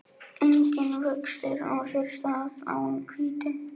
Enginn vöxtur á sér stað án hvítu.